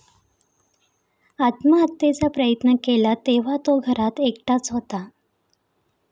आत्महत्येचा प्रयत्न केला तेव्हा तो घरात एकटाच होता.